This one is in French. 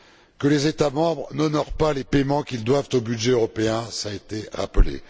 Que les États membres n'honorent pas les paiements qu'ils doivent au budget européen, cela a été rappelé